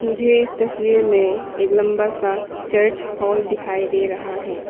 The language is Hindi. मुझे इस तस्वीर में एक लंबा सा चर्च हॉल दिखाई दे रहा है।